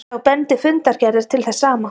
Þá bendi fundargerðir til þess sama